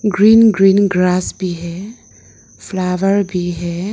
Green green grass भी है flower भी है।